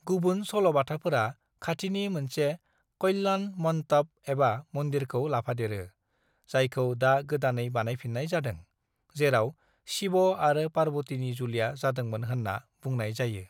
"गुबुन सल'बाथाफोरा खाथिनि मोनसे कल्याणमन्टप एबा मन्दिरखौ लाफादेरो, जायखौ दा गोदानै बानायफिन्नाय जादों, जेराव शिब आरो पार्बतिनि जुलिया जादोंमोन होन्ना बुंनाय जायो।"